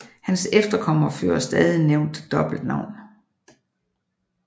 Hans efterkommere fører stadig nævnte dobbeltnavn